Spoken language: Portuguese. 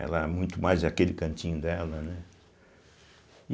Ela é muito mais aquele cantinho dela, né?